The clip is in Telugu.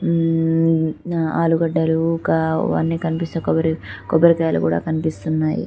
మ్మ్ ఆలుగడ్డలు ఒక అవన్నీ కనిపిస్తూ కొబ్బరి కొబ్బరికాయలు కూడా కనిపిస్తున్నాయి .